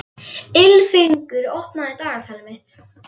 Ylfingur, opnaðu dagatalið mitt.